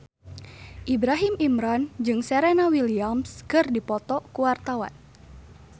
Ibrahim Imran jeung Serena Williams keur dipoto ku wartawan